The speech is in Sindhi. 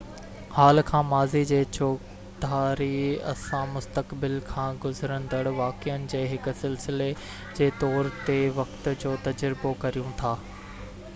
حال کان ماضي جي چوڌاري اسان مسقتبل کان گذرندڙ واقعن جي هڪ سلسلي جي طور تي وقت جو تجربو ڪريون ٿا